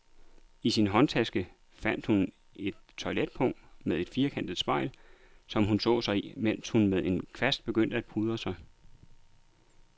I sin håndtaske fandt hun et toiletpung med et firkantet spejl, som hun så sig i, mens hun med en kvast begyndte at pudre sig.